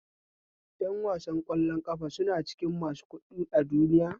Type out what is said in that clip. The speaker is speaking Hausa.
Yan wasan kwallon ƙafa suna cikin masu kuɗi a duniya